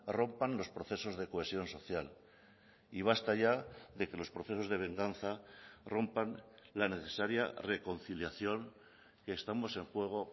rompan los procesos de cohesión social y basta ya de que los procesos de venganza rompan la necesaria reconciliación que estamos en juego